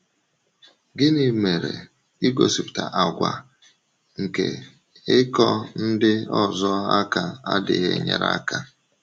Gịnị mere igosipụta àgwà nke ịkọ ndị ọzọ aka adịghị enyere aka?